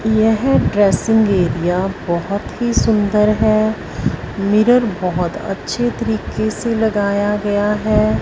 यह dressing area बहोत ही सुंदर है मिरर बहोत अच्छे तरीके से लगाया गया है।